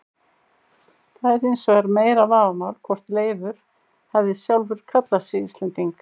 Það er hins vegar meira vafamál hvort Leifur hefði sjálfur kallað sig Íslending.